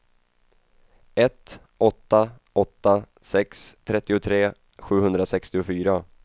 ett åtta åtta sex trettiotre sjuhundrasextiofyra